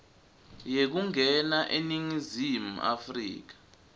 yekungena eningizimu afrika